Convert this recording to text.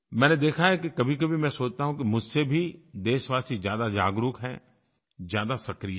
मैंने देखा है कि कभीकभी मैं सोचता हूँ कि मुझसे भी देशवासी ज़्यादा जागरूक हैं ज़्यादा सक्रिय हैं